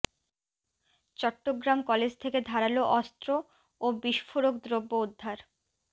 Chittagong college থেকে ধারালো অস্ত্র ও বিস্ফোরক দ্রব্য উদ্ধার